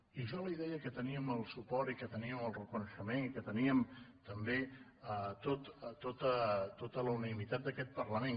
i jo li deia que teníem el suport i que teníem el reconeixement i que teníem també tota la unanimitat d’aquest parlament